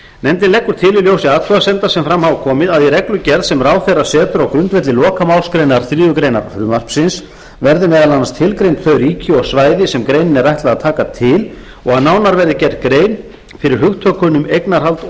nefndin leggur til í ljósi athugasemda sem fram hafa komið að í reglugerð sem ráðherra setur á grundvelli lokamálsgreinar þriðju greinar frumvarpsins verði meðal annars tilgreind þau ríki og svæði sem greininni er ætlað að taka til og að nánar verði gerð grein fyrir hugtökunum eignarhald og